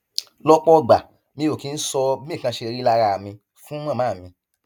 lọpọ ìgbà mi ò kì í sọ bí nǹkan ṣe rí lára mi fún màmá mi